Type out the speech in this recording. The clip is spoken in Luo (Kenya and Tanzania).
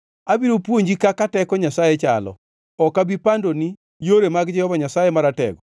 “Abiro puonji kaka teko Nyasaye chalo; ok abi pandoni yore mag Jehova Nyasaye Maratego.